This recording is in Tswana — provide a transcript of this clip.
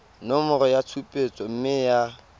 nomoro ya tshupetso mme ya